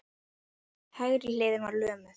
Hægri hliðin var lömuð.